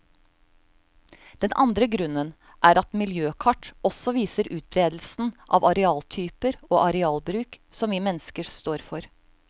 Den andre grunnen er at miljøkart også viser utberedelsen av arealtyper og arealbruk som vi mennesker står for.